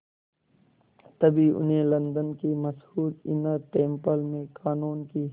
तभी उन्हें लंदन के मशहूर इनर टेम्पल में क़ानून की